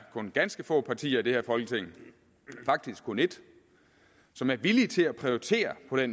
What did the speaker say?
ganske få partier i dette folketing faktisk kun et som er villige til at prioritere ved